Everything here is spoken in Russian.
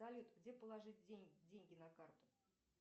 салют где положить деньги на карту